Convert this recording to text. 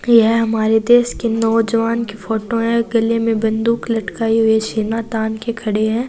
यह हमारे देश के नौजवान की फोटो हैं गले में बंदूक लटकाए हुए सीना तान के खड़े है।